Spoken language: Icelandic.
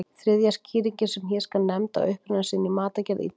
Þriðja skýringin sem hér skal nefnd á uppruna sinn í matargerð Ítala.